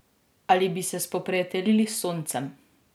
Ali bi se spoprijateljili s Soncem?